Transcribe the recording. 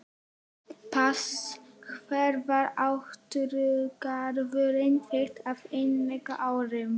Pass Hver var átrúnaðargoð þitt á yngri árum?